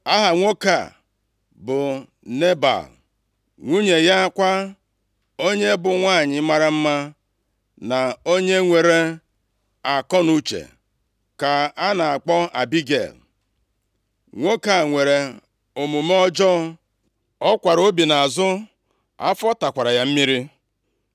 Aha nwoke a bụ Nebal. Nwunye ya kwa, onye bụ nwanyị mara mma, na onye nwere akọnuche, ka a na-akpọ Abigel. Nwoke a nwere omume ọjọọ; ọ kwara obi nʼazụ, afọ takwara ya mmiri.